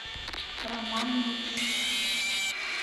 роман ниц